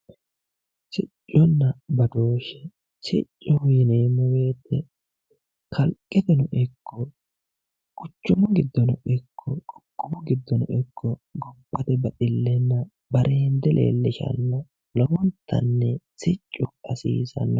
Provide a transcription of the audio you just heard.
Sicconna badooshshe ,siccoho yinneemmo woyte kalqeteno ikko quchumu giddonno ikko qoqqowu giddono ikko gobbate baxilenna barende leelishano lowontanni siccu hasiisano.